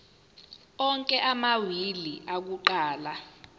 onke amawili akuqala